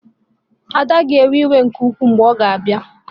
Ada ga-ewe iwe nke ukwuu ma ọ bịa